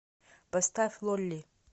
поставь лолли